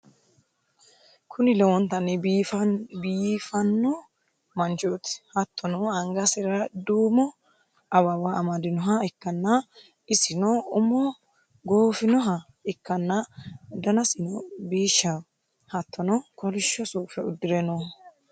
Kuni lowontanni biifanno manchooti, hattono angasira duumo awawa amadinoha ikkanna, isino umo goofinoha ikkanna, danasino biishshaho, hattono kolishsho suufe uddire nooho.